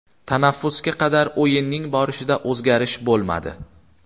Tanaffusga qadar o‘yinning borishida o‘zgarish bo‘lmadi.